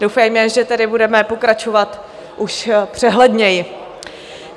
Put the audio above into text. Doufejme, že tedy budeme pokračovat už přehledněji.